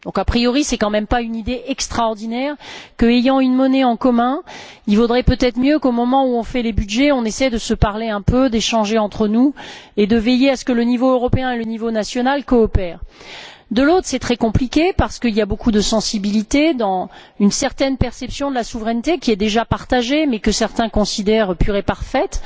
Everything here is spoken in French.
A priori, ce n'est tout de même pas une idée extraordinaire que, ayant une monnaie en commun, il vaudrait peut être mieux, au moment où nous faisons les budgets, qu'on essaie de se parler un peu, d'échanger entre nous et de veiller à ce que le niveau européen et le niveau national coopèrent. D'un autre côté, c'est très compliqué parce qu'il y a beaucoup de sensibilité dans une certaine perception de la souveraineté, qui est déjà partagée, mais que certains considèrent pure et parfaite.